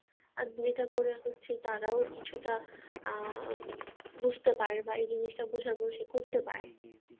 আর এটা করে হচ্ছে তারাও কিছুটা আহ বুঝতে পারে বা এই জিনিসটা বোঝার পরে সে করতে পারে